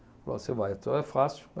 Falou você vai, é fácil.